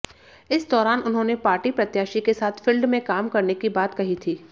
इस दौरान उन्होंने पार्टी प्रत्याशी के साथ फील्ड में काम करने की बात कही थी